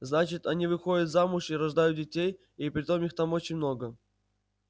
значит они выходят замуж и рождают детей и притом их там очень много